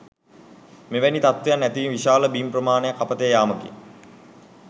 මෙවැනි තත්ත්වයක් ඇතිවීම විශාල බිම් ප්‍රමාණයක් අපතේ යාමකි.